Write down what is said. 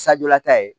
lata ye